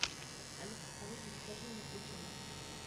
алиса закажи мне утенок